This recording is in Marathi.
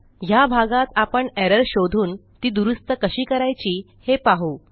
ह्या भागात आपण एरर शोधून ती दुरूस्त कशी करायची हे पाहू